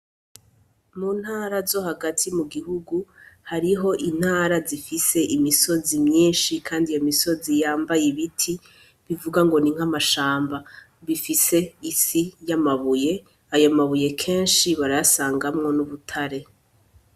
Mu ntara zo hagati mu gihugu, hariho intara zifise imisozi myinshi kandi iyo misozi yambaye ibiti, bivugwa ngo ni nk'amashamba. Bifise isi y'amabuye, ayo mabuye kenshi barayasangamwo n'ubutare.